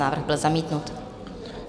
Návrh byl zamítnut.